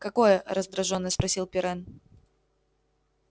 какое раздражённо спросил пиренн